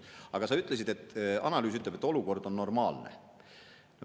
Aga sa ütlesid, et analüüs ütleb, et olukord on normaalne.